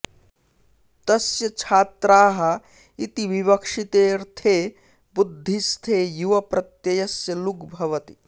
तस्य छाऽत्राः इति विवक्षिते ऽर्थे बुद्धिस्थे युवप्रत्यय्स्य लुग् भवति